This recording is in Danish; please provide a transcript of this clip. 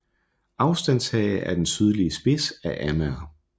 Aflandshage er den sydlige spids af Amager